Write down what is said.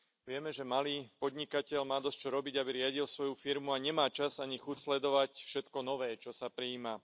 Vieme, že malý podnikateľ má dosť čo robiť, aby riadil svoju firmu, a nemá čas ani chuť sledovať všetko nové čo, sa prijíma.